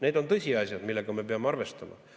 Need on tõsiasjad, millega me peame arvestama.